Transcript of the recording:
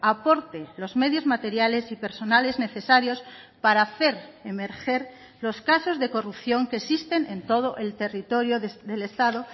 aporte los medios materiales y personales necesarios para hacer emerger los casos de corrupción que existen en todo el territorio del estado